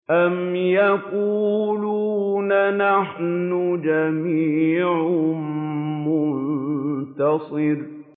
أَمْ يَقُولُونَ نَحْنُ جَمِيعٌ مُّنتَصِرٌ